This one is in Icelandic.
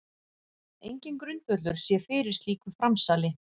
Enginn grundvöllur sé fyrir slíku framsali